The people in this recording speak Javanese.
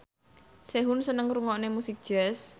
Sehun seneng ngrungokne musik jazz